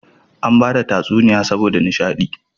Ana bada tsuniya saboda nisha di